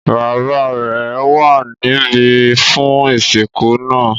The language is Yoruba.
Bàbá rẹ̀ wà níbí fún ìsìnkú náà.